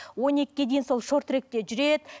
он екіге дейін сол шорт тректе жүреді